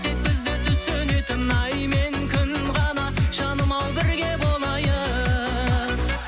тек бізді түсінетін ай мен күн ғана жаным ау бірге болайық